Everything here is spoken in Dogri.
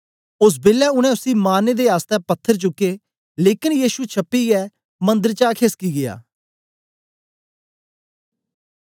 ओस बेलै उनै उसी मारने दे आसतै पत्थर चुके लेकन यीशु छपीयै मंदर चा खेसकी गीया